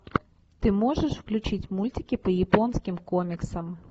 ты можешь включить мультики по японским комиксам